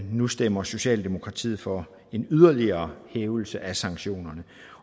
nu stemmer socialdemokratiet for en yderligere hævelse af sanktionerne